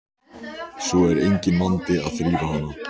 Svo er enginn vandi að þrífa hana.